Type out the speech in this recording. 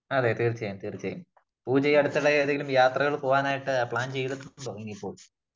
അതേ തീർച്ചയായും തീർച്ചയായും . പൂജ ഈ അടുത്തിടെ ഏതെങ്കിലും യാത്രകൾ പോകാൻ പ്ലാൻ ചെയ്തിട്ടുണ്ടോ ? എനിയിപ്പോൾ